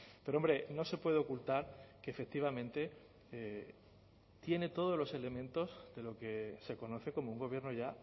pero hombre no se puede ocultar que efectivamente tiene todos los elementos de lo que se conoce como un gobierno ya